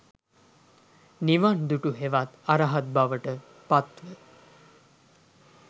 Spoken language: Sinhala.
නිවන් දුටු හෙවත් අරහත් බවට පත්ව